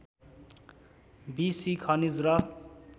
be C खनिज र